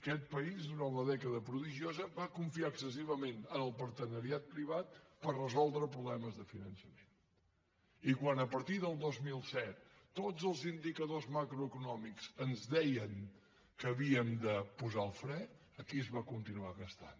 aquest país durant la dècada prodigiosa va confiar excessivament en el partenariat privat per resoldre problemes de finançament i quan a partir del dos mil set tots els indicadors macroeconòmics ens deien que havíem de posar el fre aquí es va continuar gastant